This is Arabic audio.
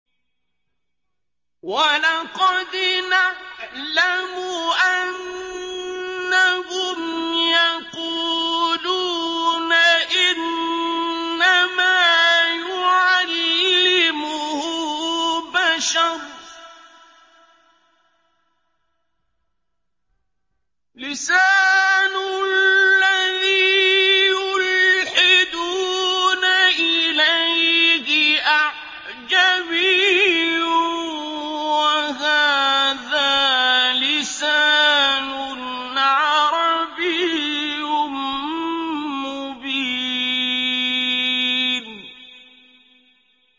وَلَقَدْ نَعْلَمُ أَنَّهُمْ يَقُولُونَ إِنَّمَا يُعَلِّمُهُ بَشَرٌ ۗ لِّسَانُ الَّذِي يُلْحِدُونَ إِلَيْهِ أَعْجَمِيٌّ وَهَٰذَا لِسَانٌ عَرَبِيٌّ مُّبِينٌ